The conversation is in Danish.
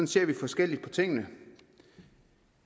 ser vi forskelligt på tingene